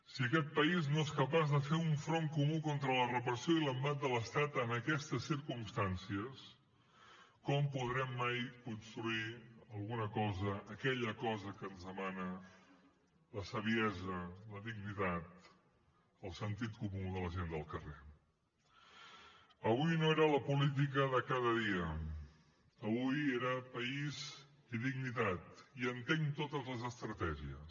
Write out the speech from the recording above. si aquest país no és capaç de fer un front comú contra la repressió i l’embat de l’estat en aquestes circumstàncies com podrem mai construir alguna cosa aquella cosa que ens demana la saviesa la dignitat el sentit comú de la gent del carrer avui no era la política de cada dia avui era país i dignitat i entenc totes les estratègies